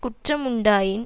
குற்றம் உண்டாயின்